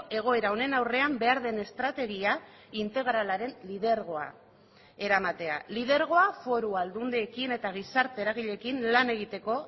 egoera honen aurrean behar den estrategia integralaren lidergoa eramatea lidergoa foru aldundiekin eta gizarte eragileekin lan egiteko